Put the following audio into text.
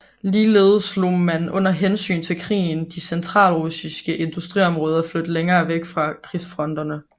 Ligeledes lod man under hensyn til krigen de centralrussiske industriområder flytte længere væk fra krigsfronterne